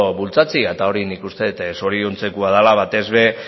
bultzatzea eta hori nik uste dut zoriontzekoa dela batez ere